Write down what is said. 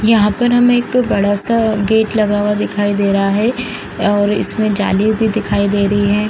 यहां पर हमें एक बड़ा-सा गेट लगा हुआ दिखाई दे रहा है और इसमे जाली भी दिखाई दे रही हैं।